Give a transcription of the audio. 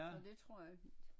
Så det tror jeg fint